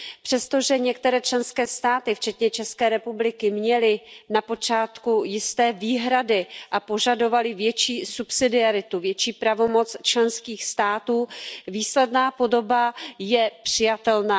Přesto, že některé členské státy včetně České republiky měly na počátku jisté výhrady a požadovaly větší subsidiaritu, větší pravomoc členských států, výsledná podoba je přijatelná.